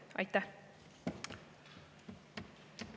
Aitäh!